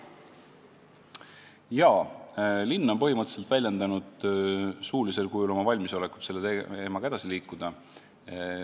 Jaa, linn on suuliselt väljendanud valmisolekut selle teemaga edasi liikuda.